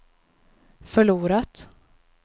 förlorat